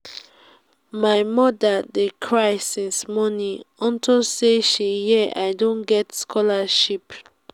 my mother dey cry since morning unto say she hear i don get scholarship